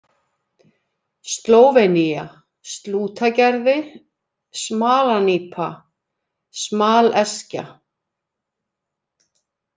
Slóvenía, Slútagerði, Smalanípa, Smaleskja